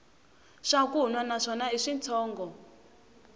swakunwa na swona i switshongo